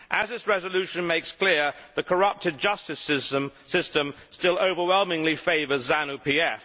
As this resolution makes clear, the corrupted justice system still overwhelmingly favours ZANU PF.